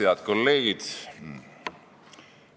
Head kolleegid!